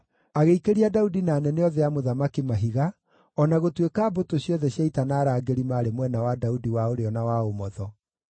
Agĩikĩria Daudi na anene othe a mũthamaki mahiga, o na gũtuĩka mbũtũ ciothe cia ita na arangĩri maarĩ mwena wa Daudi wa ũrĩo na wa ũmotho.